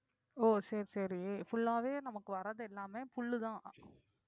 ஓ சரி சரி full ஆவே நமக்கு வர்றது எல்லாமே புல்லுதான்